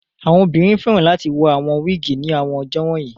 Àwọn ọmọbìnrin fẹ́ràn láti wọ awon wiigi ní àwọn ọjọ́ wọ̀nyí